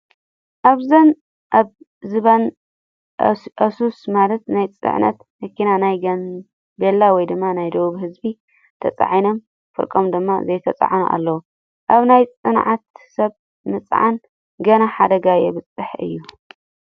ኣብዚ ኣብ ዝባን ኣይሱስ ማለት ናይ ፀዕነት መኪና ናይ ጋንቤላወይ ድማ ናይ ደቡብ ህዝቢ ተፃዒኖም ፍርቆም ድማ ዘይተፃዓኑ ኣለው። ኣብ ናይ ፅዕነት ሰብ ምፅዓን ግና ሓደጋ የበዝሕ እዩ።